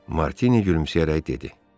Martini gülümsəyərək dedi.